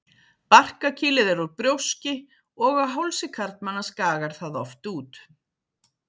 Barkakýlið er úr brjóski og á hálsi karlmanna skagar það oft út.